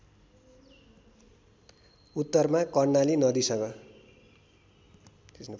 उत्तरमा कर्णाली नदीसँग